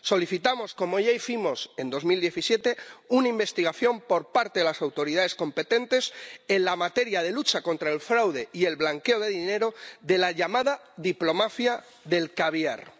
Solicitamos, como ya hicimos en 2017, una investigación por parte de las autoridades competentes en materia de lucha contra el fraude y blanqueo de dinero de la llamada diplomafia del caviar.